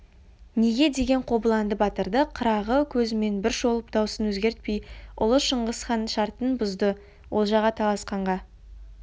неге деген қобыланды батырды қырағы көзімен бір шолып даусын өзгертпей ұлы шыңғысхан шартын бұзды олжаға таласқанға